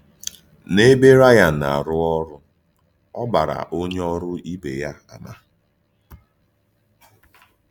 N’èbé Rỳàn na-arù òrụ́, ọ gbàrà ònyé òrụ́ ìbè yá àmà.